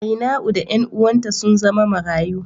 Ainau da ’yan uwanta sun zama marayu.